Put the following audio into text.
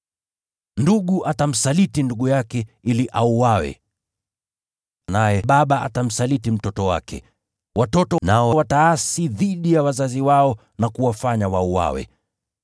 “Ndugu atamsaliti ndugu yake ili auawe, naye baba atamsaliti mtoto wake. Watoto nao wataasi dhidi ya wazazi wao na kusababisha wauawe.